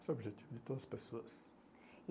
Esse é o objetivo de todas as pessoas. E